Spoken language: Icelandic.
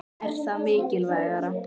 Er það mikilvægara?